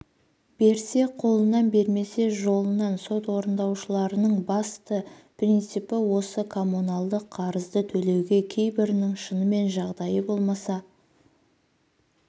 берсе қолынан бермесе жолынан сот орындаушылардың басты принципі осы коммуналдық қарызды төлеуге кейбірінің шынымен жағдайы болмаса